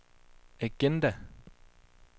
agenda